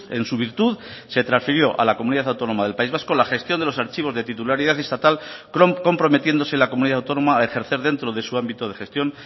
en su virtud se transfirió a la comunidad autónoma del país vasco la gestión de los archivos de titularidad estatal comprometiéndose la comunidad autónoma a ejercer dentro de su ámbito de gestión